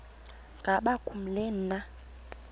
ngaba kubleni na